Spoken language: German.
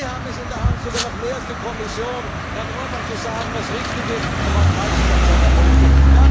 Sie haben es in der Hand sogar noch mehr als die Kommission Herrn Orbán zu sagen, was richtig und was falsch ist an seiner Politik.